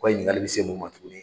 O ka ɲininkali bɛ se mun ma tugunni.